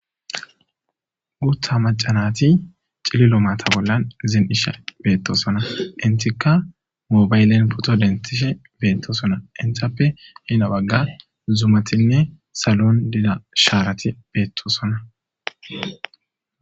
Guththa macca natti cillilo maata bollan zin'ishe bettossona enttika moybaliyan pooto denththishe bettosona enttappe heeni baggan zummatine salon diiza sharati bettosona.